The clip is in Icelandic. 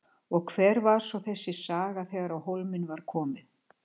Og hver var svo þessi saga þegar á hólminn var komið?